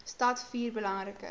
stad vier belangrike